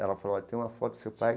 Ela falou, eu tenho uma foto do seu pai.